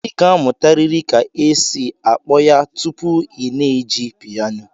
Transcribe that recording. Ị ga-amụtarịrị ka esi akpọ ya tupu ị na-eji piano